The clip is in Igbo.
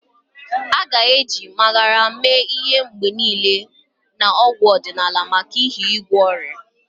A ga-eji Magarya mee ihe mgbe niile na ọgwụ ọdịnala maka ihe igwọ ọrịa ya.